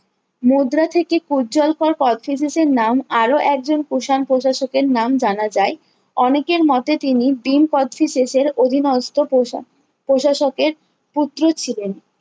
মুদ্রা থেকে পূজ্জ্বলকর কোর্চটিজেসিজের নাম আরো একজন কুষাণ প্রশাসকের নাম জানা যায় অনেকের মতে তিনি ভীম কোর্চটিজেসিজের অভিনষ্ট পোষা প্রশাসকের পুত্র ছিলেন